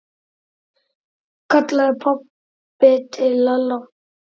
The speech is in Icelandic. kallaði pabbi til Lalla.